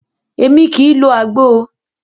Émi kìí lo àgbo o.